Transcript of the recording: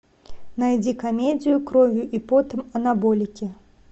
найди комедию кровью и потом анаболики